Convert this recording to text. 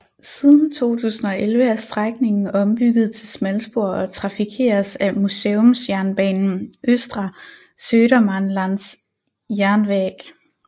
Siden 2011 er strækningen ombygget til smalspor og trafikeres af museumsjernbanen Östra Södermanlands Järnväg